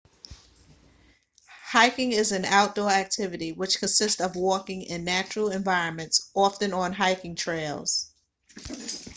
hiking is an outdoor activity which consists of walking in natural environments often on hiking trails